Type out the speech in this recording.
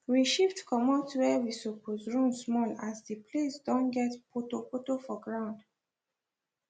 we shift comot where we suppose run small as the place don get poto poto for ground